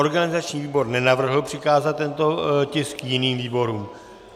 Organizační výbor nenavrhl přikázat tento tisk jiným výborům.